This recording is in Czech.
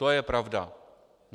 To je pravda.